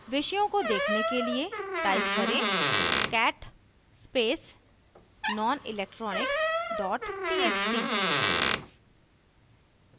विषयों को देखने के लिए type करें cat space nonelectronics txt